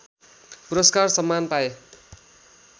पुरस्कार सम्मान पाए